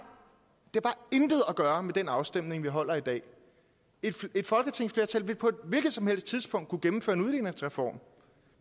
intet at gøre med den afstemning vi holder i dag et folketingsflertal vil på et hvilket som helst tidspunkt kunne gennemføre en udligningsreform